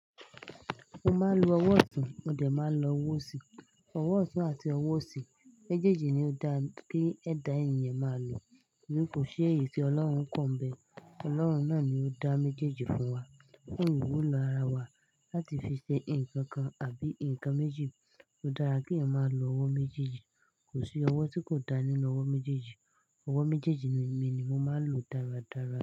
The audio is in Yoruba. Mo máa ń lo ọwọ́ ọ̀tún, mo dẹ̀ máa ń lo ọwọ́ òsì. Ọwọ́ ọ̀tún àti ọwọ́ òsì, méjèèjì ni ó dáa kí ẹ̀dà ènìyàn máa lò, torí kò ṣí èyí tí Ọlọ́run kọ̀ mbẹ̀. Ọlọ́run náà ni ó dá méjèèjì fún wa. Ní ìwúlo ara wa láti fi ṣe ǹkan kan àbí ǹkan méjì, ó dára kí èèyàn máa lo ọwọ́ méjèèjì. Kò sí ọwọ́ tí kò da nínú ọwọ́ méjèèjì. Ọwọ́ méjéèjì mi ni mo máa ń lò dáradára.